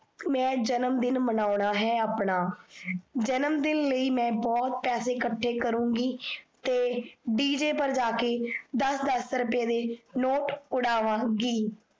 ਮੈ ਜਨਮਦਿਨ ਮਨਾਨਉਣਾ ਹੈ ਆਪਣਾ। ਜਨਮਦਿਨ ਲਈ ਮਈ ਬਹੁਤ ਪੈਸੇ ਇਕਠੇ ਕਰੁਗੀ ਤੇ ਡੀਜੇ ਪਰ ਜਾਕੇ ਦੱਸ ਦੱਸ ਰੁਪਏ ਦੇ note ਉਡਾਵਾਂਗੀ।